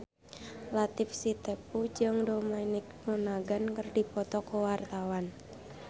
Latief Sitepu jeung Dominic Monaghan keur dipoto ku wartawan